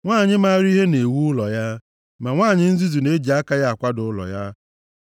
Nwanyị maara ihe na-ewu ụlọ ya, ma nwanyị nzuzu na-eji aka ya akwada ụlọ ya.